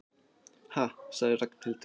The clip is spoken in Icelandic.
Ha sagði Ragnhildur.